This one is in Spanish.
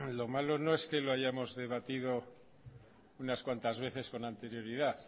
lo malo no es que lo hayamos debatido unas cuantas veces con anterioridad